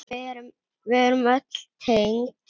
Við erum öll tengd.